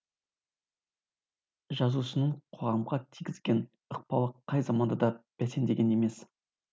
жазушының қоғамға тигізген ықпалы қай заманда да бәсеңдеген емес